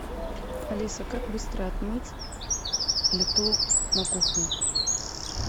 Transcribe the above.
алиса как быстро отмыть плиту на кухне